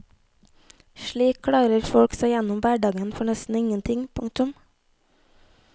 Slik klarer folk seg gjennom hverdagen for nesten ingenting. punktum